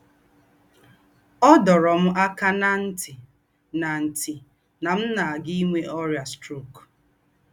Ọ̀ dōrō m àkā ná ntī̀ nà ntī̀ nà m̀ nà-àgà ìnwē ọ́rị́ā strok